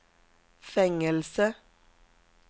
fängelse